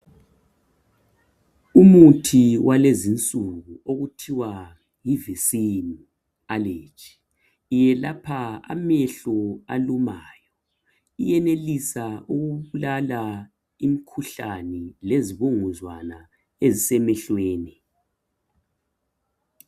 Umuthi walezinsuku okuthiwa yivisini aleji. Iyelapha amehlo alumayo. Iyenelisa ukubulala imkhuhlani lezibunguzwana ezisemehlweni.